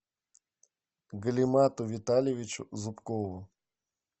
галимату витальевичу зубкову